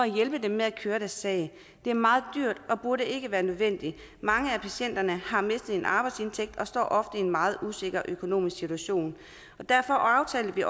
hjælp til at køre sagen det er meget dyrt og burde ikke være nødvendigt mange af patienterne har mistet en arbejdsindtægt og står ofte i en meget usikker økonomisk situation derfor aftalte vi